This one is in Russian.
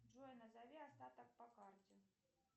джой назови остаток по карте